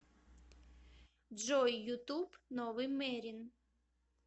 джой ютуб новый мерин